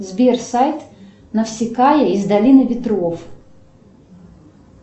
сбер сайт навсикая из долины ветров